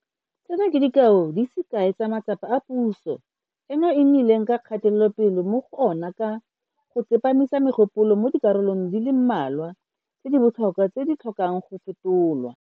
Tseno ke dikao di se kae tsa matsapa a puso eno e nnileng le kgatelopele mo go ona ka go tsepamisa megopolo mo dikarolong di le mmalwa tse di botlhokwa tse di tlhokang go fetolwa.